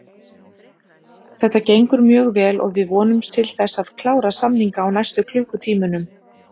Þetta gengur mjög vel og við vonumst til þess að klára samninga á næstu klukkutímunum.